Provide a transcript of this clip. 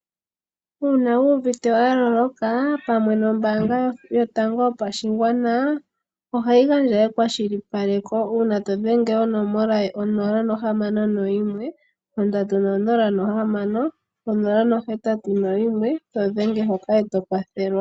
Uuna wu uvite wa loloka pamwe nombaanga yotango yopashigwana ohayi gandja ekwashilipaleko uuna todhenge onomola ye 061306081 todhenge hoka eto kwathelwa.